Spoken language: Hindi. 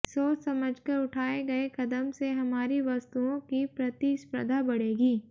सोच समझकर उठाए गए कदम से हमारी वस्तुओं की प्रतिस्पर्धा बढ़ेगी